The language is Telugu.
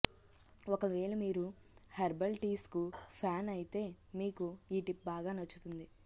ఒకవేళ మీరు హెర్బల్ టీస్ కు ఫ్యాన్ ఐతే మీకు ఈ టిప్ బాగా నచ్చుతుంది